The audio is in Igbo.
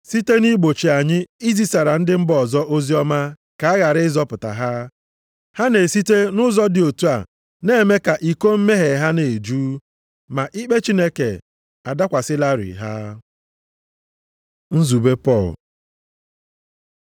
site nʼigbochi anyị izisara ndị mba ọzọ oziọma ka a ghara ịzọpụta ha. Ha na-esite nʼụzọ dị otu a na-eme ka iko mmehie ha na-eju. Ma ikpe Chineke adakwasịlarị ha. Nzube Pọl